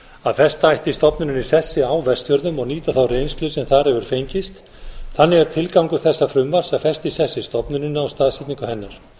að festa ætti stofnunina í sessi á vestfjörðum og nýta þá reynslu sem þar hefur fengist þannig er tilgangur þessa frumvarp að festa í sessi stofnunina og staðsetningu hennar